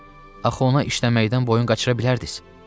Axı ona işləməkdən boyun qaçıra bilərdiz?